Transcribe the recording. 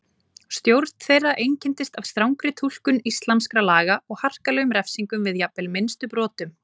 Stjórn þeirra einkenndist af strangri túlkun íslamskra laga og harkalegum refsingum við jafnvel minnstu brotum.